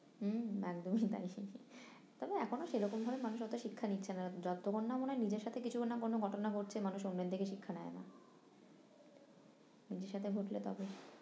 হম একদমই তাই তবে এখনো সেরকমভাবে মানুষ ওতে শিক্ষা নিচ্ছে না যতক্ষণ না মনে হয় নিজের সাথে কিছুক্ষন না কোনো ঘটনা ঘটছে মানুষ অন্যের দেখে শিক্ষা নেই না নিজের সাথে ঘটলে তবে